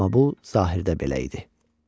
Amma bu zahirdə belə idi.